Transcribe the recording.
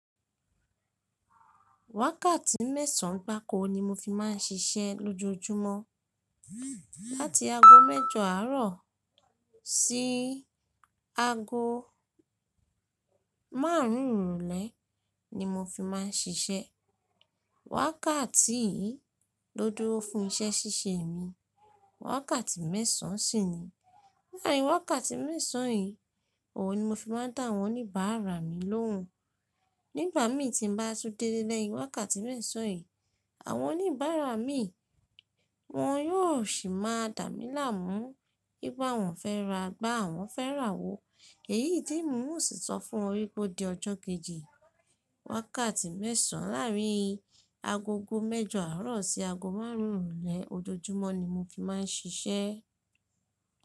Wákàtí mẹ́sàn gbáko ni mo fi máà ń ṣiṣẹ́ lójoojúmọ́. Láti ago mẹ́jọ àárọ̀ sí ago márùn ún ìrọ̀lẹ́ ni mo fi máa ń ṣiṣẹ́. Wákàtí yìí ló dúró fún iṣẹ́ ṣíṣe mi. Wákàtí mẹ́sàn sì ni. Láàrin wákàtí mẹ́sàn yìí, òun ni mo fi máa ń dá àwọn oníbàárà mi lóhùn. Nígbà mi tí n bá tun dé ilé lẹ́yìn wákàtí mẹ́sàn yìí, àwọn oníbàárà mi wọn yóò sì máa dà mí láàmú, wi pe àwọn fẹ́ ra igba àwọn fẹ́ rà awó. Èyí tí n o sì sọ́ fún won wí pé ó di ọjọ́ kejì. Wákàtí mẹ́sàn láàrin agogo mẹ́jọ àárọ̀ sí ago márùn ún ìrọ̀lẹ́ ojoojúmọ́ ni mo fi máa ń ṣiṣẹ́.